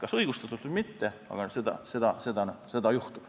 Kas õigustatult või mitte, aga seda juhtub.